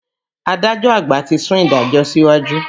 Adájọ́ àgbà ti sún ìdájọ́ síwájú.